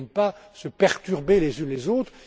Elles ne viennent pas se perturber les unes les autres.